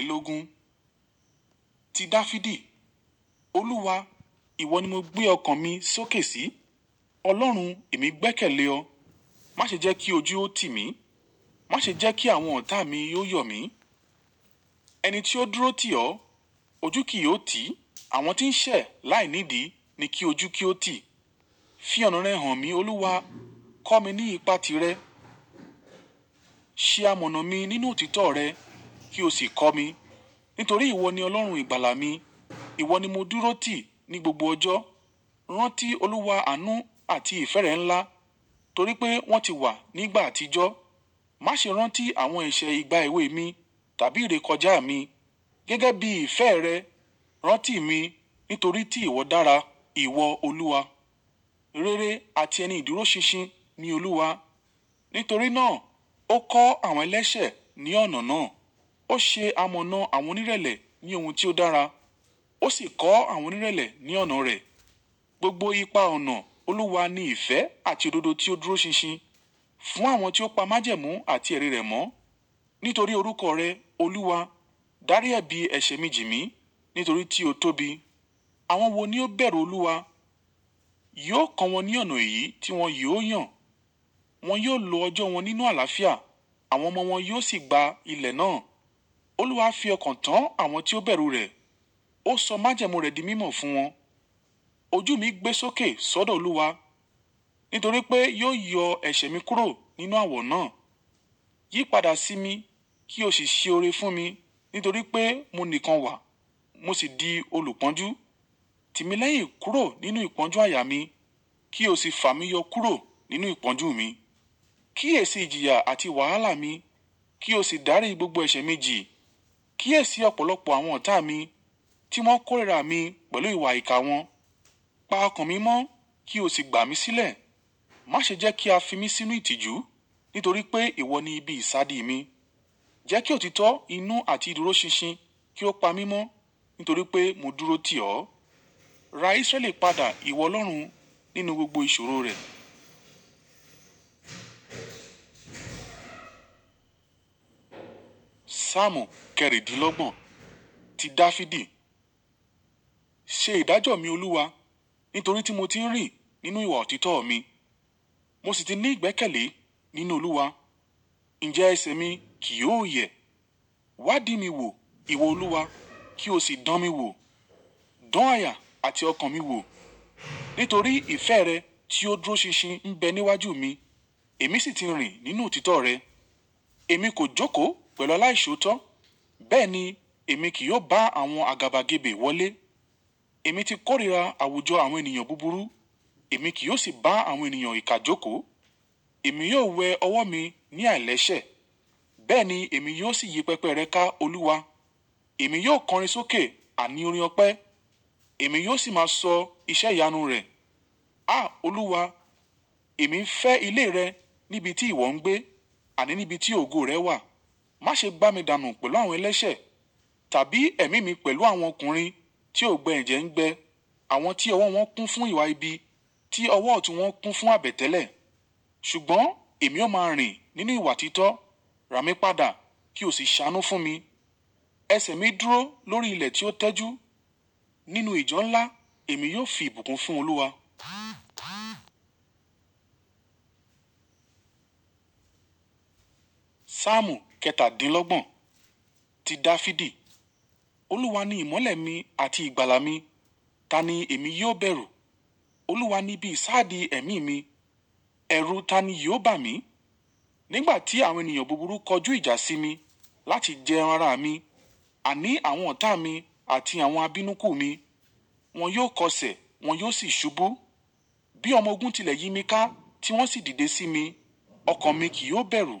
Ológun. Ti Dafidi. Olúwa, ìwọ ni mo gbé ọkàn mi sókè sí. Ọlọ́run, èmi gbẹ́kẹ̀lé ọ. Má ṣe jẹ́ kí ojú ó tì mí. Má ṣe jẹ́ kí àwọn ọ̀tá mi óò yọ̀ mí. Ẹni tí ó dúró tì ọ́, ojú kì í ó tì. Àwọn tí ń ṣẹ̀ láìnídì ni kí ojú kí ó tì. Fi ọ̀nà rẹ hàn mí, Olúwa. Kọ́ mi ní ìpà tí rẹ̀. Ṣe amọ̀nà mi nínú òtítọ́ rẹ kí o sì kọ́ mi. Nítorí ìwọ ni Ọlọ́run ìgbàlà mi. Ìwọ ni mo dúró tì ní gbogbo ọjọ́. Rántí olúwa àánú àti ìfẹ́ rẹ̀ ńlá. Torí pé wọ́n ti wà nígbà àtijọ́. Má ṣe rántí àwọn ẹ̀ṣẹ̀ ìgbà èwe mi tàbí ìrékọjá mi. Gẹ́gẹ́ bí ìfẹ́ rẹ̀, rántí mi nítorí tí ìwọ dára, ìwọ Olúwa. Rere àti ẹni ìdúró ṣinṣin ni Olúwa. Nítorí náà ó kọ́ àwọn ẹlẹ́sẹ̀ ní ọ̀nà náà. Ó ṣe amọ̀nà àwọn onírẹ̀lẹ̀ ní ohun tí ó dára. Ó sì kọ́ àwọn onírẹ̀lẹ̀ ní ọ̀nà rẹ̀. Gbogbo ipa ọ̀nà Olúwa ni ìfẹ́ àti òdodo tí ó dúró ṣinṣin. Fún àwọn tí ó pa májẹ̀mú àti ẹrí rẹ̀ mọ́. Nítorí orúkọ rẹ, Olúwa, dárí ẹbí ẹ̀ṣẹ̀ méjì mi nítorí tí o tóbi. Àwọn wo ni ó bẹ̀rù Olúwa? Yóò kọ wọn ní ọ̀nà èyí tí wọ́n yóò yàn. Wọn yóò lo ọjọ́ wọn nínú àlàáfíà. Àwọn ọmọ wọn yóò sì gba ilẹ̀ náà. Olúwa fi ọkàn tán àwọn tí ó bẹ̀rù rẹ̀. Ó sọ májẹ̀mú rẹ̀ di mímọ̀ fún wọn. Ojú mi gbé sókè sódò Olúwa. Nítorí pé yóò yọ ẹ̀ṣẹ̀ mi kúrò nínú àwọ̀ náà. Yí padà sí mi kí o sì ṣe oore fún mi. Nítorí pé mo nìkan wà, mo sì di olùpọ́njú. Tì mí lẹ́yìn kúrò nínú ìpọ́njú àyà mi. Kí o sì fà mí yọ kúrò nínú ìpọ́njú mi. Kíyèsi ìjìyà àti wàhálà mi. Kí o sì dárí gbogbo ẹ̀ṣẹ̀ méjì. Kíyèsi ọ̀pọ̀lọpọ̀ àwọn ọ̀tá mi tí wọ́n kórìíra mi pẹ̀lú ìwà ìkà wọn. Pa ọkàn mi mọ́ kí o sì gbà mí sílẹ̀. Má ṣe jẹ́ kí a fi mí sínú ìtìjú. Nítorí pé ìwọ ni ibi ìsádi mi. Jẹ́ kí òtítọ́, inú àti ìdúró ṣinṣin kí ó pa mí mọ́. Nítorí pé mo dúró tì ọ́. Ra Isreali padà ìwọ Ọlọ́run nínú gbogbo ìṣòro rẹ̀. Saamu kẹ́rìndínlọ́gbọ̀n. Ti Dafidi. Ṣe ìdájọ́ mi, Olúwa. Nítorí tí mo ti ń rìn nínú ìwà òtítọ́ mi. Mo sì ti ní ìgbẹ́kẹ̀lé nínú Olúwa. Ǹjẹ́ ẹṣẹ̀ mi kì yóò yẹ. Wá dí mi wò, ìwọ Olúwa, kí o sì dán mi wò. Dán àyà àti ọkàn mi wò. Nítorí ìfẹ́ rẹ tí ó dúró ṣinṣin ń bẹ níwájú mi. Èmi sì ti ń rìn nínú òtítọ́ rẹ. Èmi kò jókòó pẹ̀lú aláìṣòótọ́. Bẹ́ẹ̀ ni èmi kì yó bá àwọn àgàbàgebè wọlé. Èmi ti kórìíra àwùjọ àwọn ènìyàn búburú. Èmi kì yó sì bá àwọn ènìyàn ìkà jókòó. Èmi yóò wẹ ọwọ́ mi ní àìlẹ̀ṣẹ̀. Bẹ́ẹ̀ ni èmi yóò sì yí pẹpẹ rẹ ká, Olúwa. Èmi yóò kọrin sókè àní orin ọpẹ́. Èmi yó sì máa sọ iṣẹ́ ìyanu rẹ. Áà! Olúwa, èmi ń fẹ́ ilé rẹ níbi tí ìwọ ń gbé àní níbi tí ògo rẹ wà. Má ṣe gbà mí dànù pẹ̀lú àwọn ẹlẹ́sẹ̀. Tàbí ẹ̀mí mi pẹ̀lú àwọn ọkùnrin tí ò gbẹ ẹ̀jẹ̀ ń gbẹ. Àwọn tí ọwọ́ wọn kún fún ìwà ibi. Tí ọwọ́ ọ̀tún wọn kún fún àbètẹ́lẹ̀. Ṣùgbọ́n èmi ó máa ń rìn nínú ìwà òtítọ́. Ra mí padà kí o sì ṣánú fún mi. Ẹ̀ṣẹ̀ mi dúró lórí ilẹ̀ tí ó tẹ́jú. Nínú ìjọ ńlá èmi yóò fi ìbùkún fún Olúwa. Saamu kẹtàdínlọ́gbọ̀n. Ti Dafidi. Olúwa ni ìmọ́lẹ̀ mi àti ìgbàlà mi. Tani èmi yóò bẹ̀rù? Olúwa ni ibi ìsádi ẹ̀mí mi. Ẹ̀rù tani yóò bà mí? Nígbà tí àwọn ènìyàn búburú kọjú ìjà sí mi láti jẹ ara mi. Àní àwọn ọ̀tá mi àti àwọn abínúkú mi. Wọn yóò kọsẹ̀, wọn yó sì ṣubú. Bí ọmọ ogun tilẹ̀ yin mí ká tí wọn sì dìde sí mi. Ọkàn mi kì yóò bẹ̀rù.